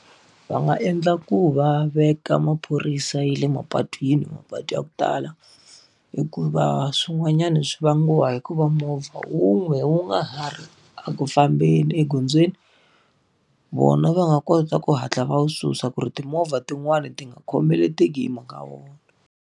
Va nga endla ku va veka maphorisa ya le mapatwini, mapatu ya ku tala. Hikuva swin'wanyana swi vangiwa hi ku va movha wun'we wu nga ha ri eku fambeni egondzweni. Vona va nga kota ku hatla va wu susa ku ri timovha tin'wani ti nga khomeleteki hi mhaka wona.